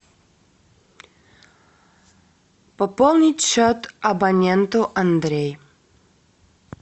пополнить счет абоненту андрей